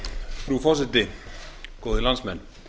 frú forseti góðir landsmenn